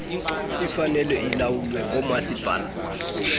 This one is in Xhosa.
ifanele ilawulwe ngoomasipala